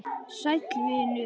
Sæll vinur